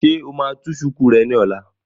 Ṣé o máa tú shùkú rẹ ní ọ̀la?